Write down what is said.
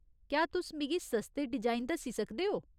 क्या तुस मिगी सस्ते डिजाइन दस्सी सकदे ओ ?